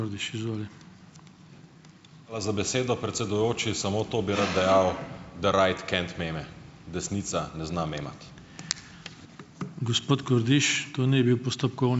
Hvala za besedo, predsedujoči. Samo to bi rad dejal, da right can't meme, desnica ne zna memati.